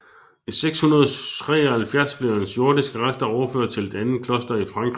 I 673 blev hans jordiske rester overført til et andet kloster i Frankrig